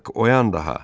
Bak oyan daha.